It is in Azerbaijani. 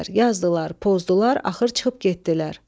Yazdılar, pozdular, axır çıxıb getdilər.